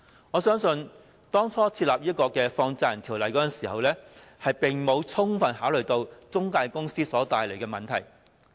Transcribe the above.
我相信當初制定《放債人條例》時並未有充分考慮到中介公司所帶來的問題。